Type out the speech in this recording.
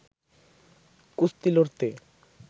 কুস্তি লড়তে